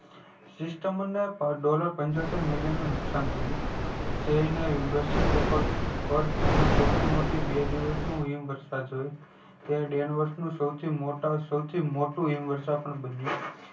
sistemerdollar પંચોતેર million નું નુકશાન થયું જેને પન તેમનું સૌથી મોટું બે દિવસનું હિમ વર્ષા જોયી તે વર્ષ નું સૌથી મોટું હિમ વર્ષા બન્યું